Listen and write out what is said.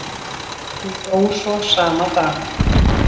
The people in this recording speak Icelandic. Hún dó svo sama dag.